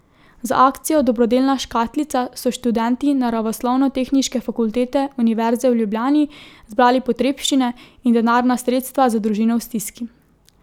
Z akcijo Dobrodelna škatlica so študenti Naravoslovnotehniške fakultete Univerze v Ljubljani zbrali potrebščine in denarna sredstva za družino v stiski.